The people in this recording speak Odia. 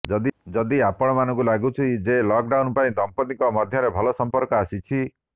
ଯଦି ଆପଣମାନଙ୍କୁ ଲାଗୁଛି ଯେ ଲକ୍ଡାଉନ୍ ପାଇଁ ଦମ୍ପିତଙ୍କ ମଧ୍ୟରେ ଭଲ ସମ୍ପର୍କ ଆସିଛି